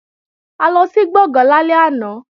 A lọ sí Gbọ̀ngán lálẹ́ àná